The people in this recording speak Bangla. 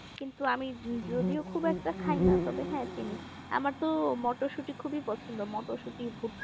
কিন্তু আমি যদিও খুব একটা খাই না তবে হ্যাঁ চিনি আমার তো মটরশুটি খুবই পছন্দ মটরশুটি